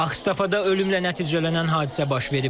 Axsafada ölümlə nəticələnən hadisə baş verib.